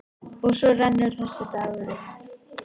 Og svo rennur þessi dagur upp.